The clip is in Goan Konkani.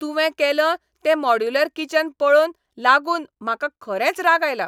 तुवें केलं तें मॉड्यूलर किचन पळोवन लागून म्हाका खरेंच राग आयला.